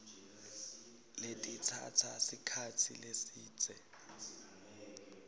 letitsatsa sikhatsi lesidze